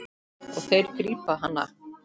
Og þeir grípa hana.